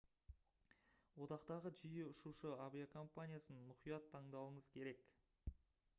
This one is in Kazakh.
одақтағы жиі ұшушы авиакомпаниясын мұқият таңдауыңыз керек